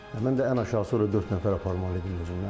Mən də ən aşağısı orda dörd nəfər aparmalı idi özümlə.